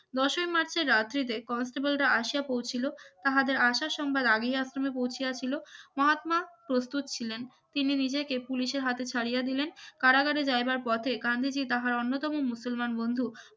দশই মার্চের রাত হইতে constable রা আসিয়া পৌঁছালো তাহাদের আশা সংবাদ আগেই আশ্রমে পৌঁছে ছিল মহত্মা প্রস্তুত ছিলেন তিনি নিজেকে পুলিশের হাতে ছাড়িয়ে দিলেন কারাগারে যাইবার পথে গান্ধীজী তাহার অন্যতম মুসলমান বন্ধু